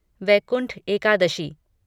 Vaikuntha Ekadashi